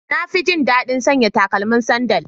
Na fi jin daɗin sanya takalmin sandal.